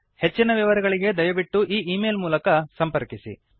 ಹೆಚ್ಚಿನ ವಿವರಗಳಿಗೆ ದಯವಿಟ್ಟು ಈ ಈ ಮೇಲ್ ಗೆ ಬರೆಯಿರಿ